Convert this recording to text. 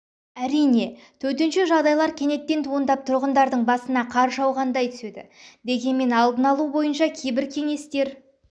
әрине төтенше жағдайлар кенеттен туындап тұрғындардың басына қар жауғандай түседі дегенмен алдын алу бойынша кейбір кеңестер